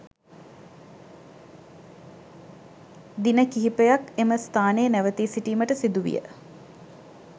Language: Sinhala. දින කිහිපයක් එම ස්ථානයේ නැවතී සිටීමට සිදුවිය